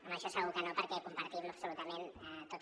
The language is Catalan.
en això segur que no perquè ho compartim absolutament amb tot